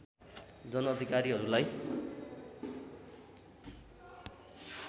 जन अधिकारीहरूलाई